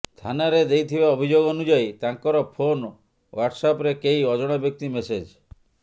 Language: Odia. ଥାନାରେ ଦେଇଥିବା ଅଭିଯୋଗ ଅନୁଯାୟୀ ତାଙ୍କର ଫୋନ ୱାଟସଆପରେ କେହି ଅଜଣା ବ୍ୟକ୍ତି ମେସେଜ୍